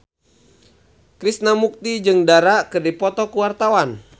Krishna Mukti jeung Dara keur dipoto ku wartawan